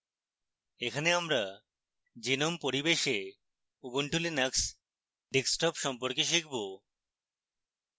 এখানে আমরা gnome পরিবেশে ubuntu linux desktop সম্পর্কে শিখব